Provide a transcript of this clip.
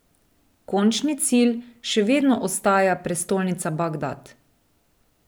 Končni cilj še vedno ostaja prestolnica Bagdad.